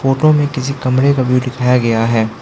Pro में किसी कमरे का व्यू दिखाया गया है।